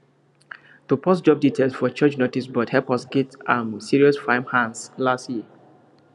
to post job details for church noticeboard help us get um serious farmhands last year